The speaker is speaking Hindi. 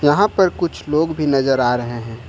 यहां पर कुछ लोग भी नजर आ रहे हैं।